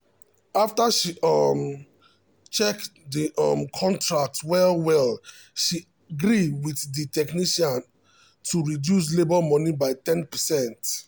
after she um check the um contract well well she gree with the technician um to reduce labour money by 10%